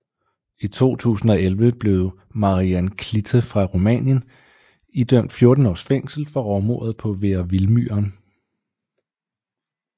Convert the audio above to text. I 2011 blev Marian Clită fra Rumænien idømt 14 års fængsel for rovmordet på Vera Vildmyren